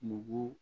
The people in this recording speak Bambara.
Nugu